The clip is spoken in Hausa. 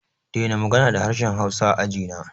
Dena magana da harshen hausa a ajina!